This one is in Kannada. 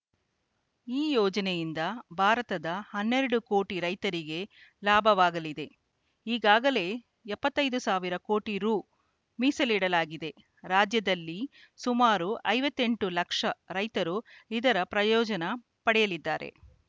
ಈ ಯೋಜನೆಯಿಂದ ಭಾರತದ ಹನ್ನೆರಡು ಕೋಟಿ ರೈತರಿಗೆ ಲಾಭವಾಗಲಿದೆ ಈಗಾಗಲೇ ಎಪ್ಪತ್ತೈದು ಸಾವಿರ ಕೋಟಿ ರು ಮೀಸಲಿಡಲಾಗಿದೆ ರಾಜ್ಯದಲ್ಲಿ ಸುಮಾರು ಐವತ್ತೆಂಟು ಲಕ್ಷ ರೈತರು ಇದರ ಪ್ರಯೋಜನ ಪಡೆಯಲಿದ್ದಾರೆ